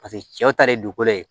Paseke cɛw ta ye dugukolo ye